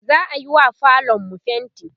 za'ayiwa falonmu fainti